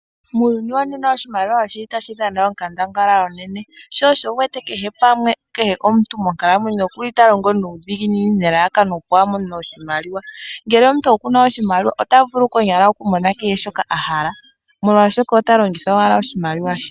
Muuyuni wonena oshimaliwa oshi li tashi dha na onkandangala onene shosho wu wete kehe omuntu monkalamwenyo oku li ta longo nuudhiginini nelalakano opo a mone oshimaliwa ngele omuntu oku na oshimaliwa ota vulu konyala okumona kehe shoka a hala molwashoka omuntu ota longitha owala oshimaliwa she.